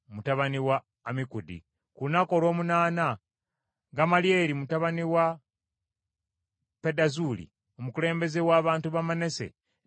Ku lunaku olw’omunaana Gamalyeri mutabani wa Pedazuuli, omukulembeze w’abantu ba Manase, n’aleeta ekiweebwayo kye.